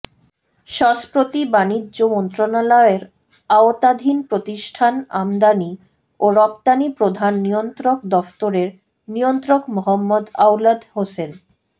সস্প্রতি বাণিজ্য মন্ত্রণালয়ের আওতাধীন প্রতিষ্ঠান আমদানি ও রপ্তানি প্রধান নিয়ন্ত্রক দফতরের নিয়ন্ত্রক মোহাম্মদ আওলাদ হোসেন